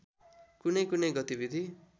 कुनै कुनै गतिविधि